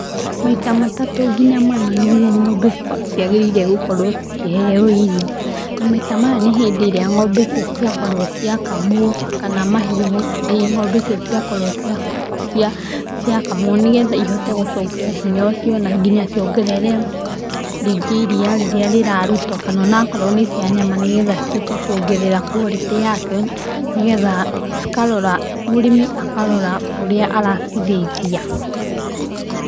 Maĩta matatũ ngĩnya mana nĩgũo ngombe ciangĩrĩirwo gũkorwo cikĩheo irio na maita maya nĩ hĩndĩ ĩrĩa ngombe icio ciakorwo ciakamũo nĩgetha cihote gũcokia hinya ũcio na nginya ciongerere rĩngĩ iria rĩrĩa rĩrarũtwo kana onakorwo nĩ cia nyama nĩgetha cihote kũongerera kwarĩtĩ yacio nĩgetha mũrimĩ akarora ũrĩa araciraithia.